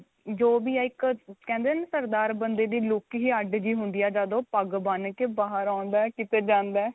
ਜੋ ਵੀ ਏ ਇੱਕ ਕਹਿੰਦੇ ਨੇ ਸਰਦਾਰ ਬੰਦੇ ਦੀ look ਹੀ ਅੱਡ ਜਹੀ ਹੁੰਦੀ ਏ ਜਦ ਉਹ ਪੱਗ ਬੰਨ ਕੇ ਬਾਹਰ ਆਉਂਦਾ ਕੀਤੇ ਜਾਂਦਾ.